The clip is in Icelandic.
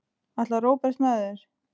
Ætlar Róbert með þér?